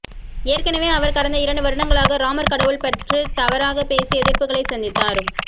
ஏற்கனவே அவர் கடந்த இரண்டு வருடங்களாக ராமர் கடவுள் பற்று தவறாக பேசி எதிர்ப்புகளை சந்தித்தார்